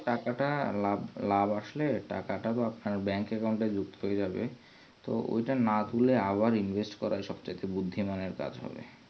টাকাটা লাভ আসলে টাকা তো আপনার bank account এ যুক্ত হয় যাবে তো ঐটা না তুল্লে আবার invest করা তা সব থেকে বেশি বুদ্দিমানের কাজ হবে